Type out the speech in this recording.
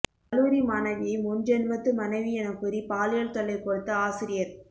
கல்லூரி மாணவியை முன்ஜென்மத்து மனைவி எனக்கூறி பாலியல் தொல்லை கொடுத்த ஆசிரியர்